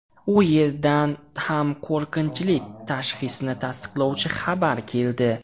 U yerdan ham qo‘rqinchli tashxisni tasdiqlovchi xabar keldi.